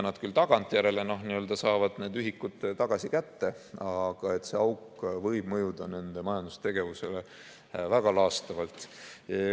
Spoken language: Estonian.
Nad küll tagantjärele saavad need ühikud kätte, aga see auk võib mõjuda nende majandustegevusele väga laastavalt.